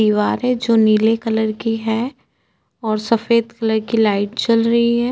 दिवारे जो निले कलर की हैं ओर सफेद कलर की लाइट जल रही है।